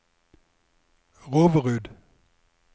Roverud